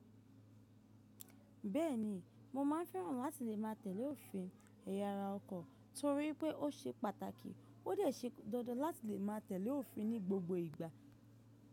Bẹ́ẹ̀ni, mo máa ń fẹ́ràn láti lè má a tẹ̀lé òfin ẹ̀yà ara ọkọ̀ torí pé ó ṣe pàtàkì, ó dẹ̀ ṣe dandan láti lè má a tẹ̀lé òfin ní gbogbo ìgbà.